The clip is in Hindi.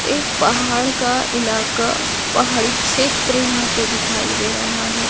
एक पहाड़ का इलाका पहाड़ी क्षेत्र यहां पे दिखाई दे रहा है।